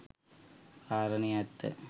කාරණය ඇත්ත.